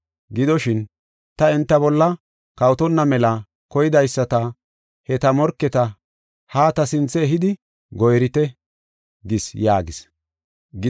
Gidoshin, ta enta bolla kawotonna mela koydaysata he ta morketa ha ta sinthe ehidi gora7ite’ gis” yaagis.